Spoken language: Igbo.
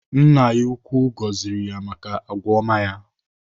Nna ya ukwuu gọziri ya maka agwa ọma ya.